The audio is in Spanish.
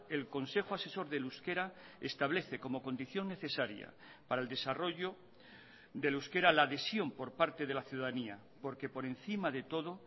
el consejo asesor del euskera establece como condición necesaria para el desarrollo del euskera la adhesión por parte de la ciudadanía porque por encima de todo